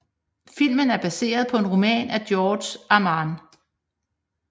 Filmen er baseret på en roman af Georges Arnaud